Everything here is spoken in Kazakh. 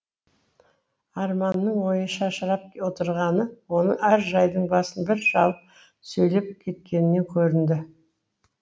арманның ойы шашырап отырғаны оның әр жайдың басын бір шалып сөйлеп кеткенінен көрінді